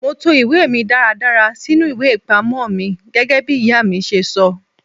Mo to ìwé mi dáradára sínú ìwé ìpamọ́ mi gẹ́gẹ́bí ìyá mi ṣe sọ.